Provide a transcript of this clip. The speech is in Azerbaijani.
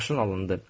Maşın alındı.